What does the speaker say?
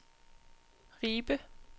Ribe